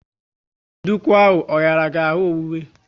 Nduku ahụ ọ hiara gị ahụ owuwe?